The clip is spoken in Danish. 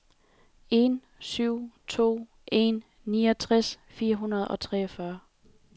en syv to en niogtres fire hundrede og treogtyve